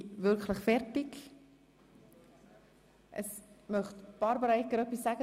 Wünscht Regierungsrätin Barbara Egger das Wort?